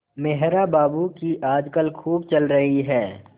मेहरा बाबू की आजकल खूब चल रही है